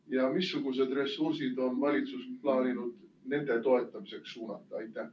Ja missugused ressursid on valitsus plaaninud nende toetamiseks suunata?